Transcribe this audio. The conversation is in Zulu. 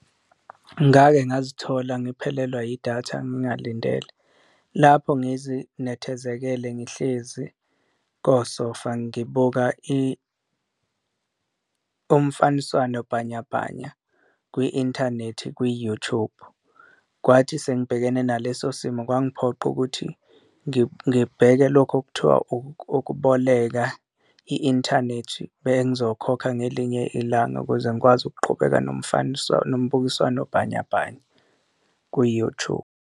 Ngake ngazithola ngiphelelwa yidatha ngingalindele lapho ngizinethezekele ngihlezi kosofa ngibuka umfaniswano bhanyabhanya kwi-inthanethi kwi-YouTube. Kwathi sengibhekene naleso simo kwangiphoqa ukuthi ngibheke lokho okuthiwa ukuboleka i-inthanethi bengizokhokha ngelinye ilanga, ukuze ngikwazi ukuqhubeka nomubukiswano bhanyabhanya kwi-YouTube.